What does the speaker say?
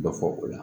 Dɔ fɔ o la